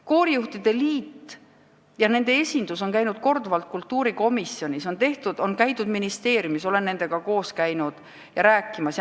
Koorijuhtide liidu esindus on käinud korduvalt kultuurikomisjonis, on käidud ministeeriumis, olen nendega koos käinud rääkimas.